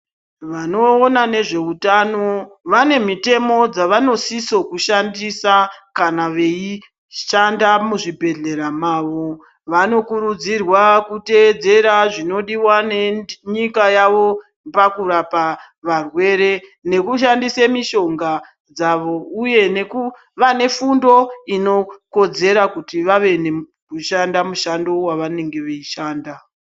Vanoona nezveutano vane mitemo dzavanosiso kushandisa kana veishanda muzvibhedhlera mavo. Vanokurudzirwa kutedzera zvinodiva nenyika yavo pakurapa varwere nekushandisa mishonga dzavo, uye nekuva nefundo inokodzera kuti vave nekushanda mushando vavanenge veishanda.